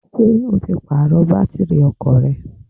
Ṣé o ti Pààrọ̀ bátìrì ọkọ̀ rẹ?